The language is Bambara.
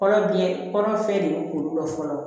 Kɔnɔ biɲɛ kɔnɔ fɛn de ye kuru dɔ fɔlɔ